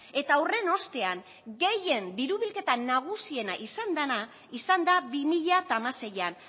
eta horren ostean gehien diru bilketa nagusiena izan dana izan da bi mila hamaseian